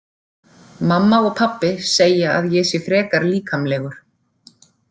Mamma og pabbi segja að ég sé frekar líkamlegur.